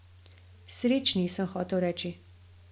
Srečni, sem hotel reči.